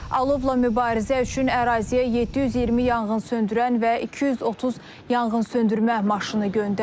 Alovla mübarizə üçün əraziyə 720 yanğınsöndürən və 230 yanğınsöndürmə maşını göndərilib.